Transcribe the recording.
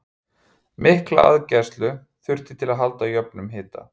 Mikla aðgæslu þurfti til að halda jöfnum hita.